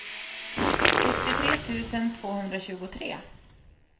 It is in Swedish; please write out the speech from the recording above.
sextiotre tusen tvåhundratjugotre